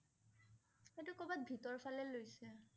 এইটো কৰবাত ভিতৰ ফালে লৈছে